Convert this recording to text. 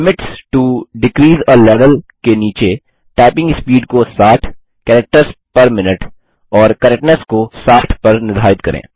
limits to decrease a level के नीचे typing speed को 60 कैरेक्टर्स पेर मिन्यूट और करेक्टनेस को 60 पर निर्धारित करें